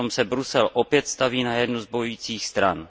Přitom se Brusel opět staví na jednu z bojujících stran.